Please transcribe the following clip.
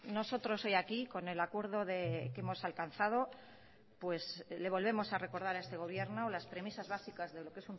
nosotros hoy aquí con el acuerdo que hemos alcanzado le volvemos a recordar a este gobierno las premisas básicas de lo que